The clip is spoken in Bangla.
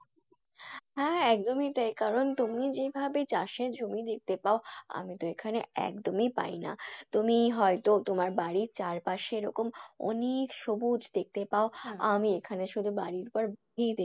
হ্যাঁ হ্যাঁ একদমই তাই কারণ তুমি যেভাবে চাষের জমি দেখতে পাও আমি তো এখানে একদমই পাই না। তুমি হয় তো তোমার বাড়ির চারপাশে এরকম অনেক সবুজ দেখতে পাও এখানে শুধু বাড়ির পর,